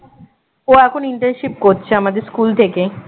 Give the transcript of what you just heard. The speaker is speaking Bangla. ও এখন internship করছে আমাদের স্কুল থেকে